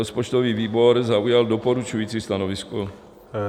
Rozpočtový výbor zaujal doporučující stanovisko.